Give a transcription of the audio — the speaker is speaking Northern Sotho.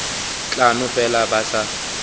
tla no fela ba sa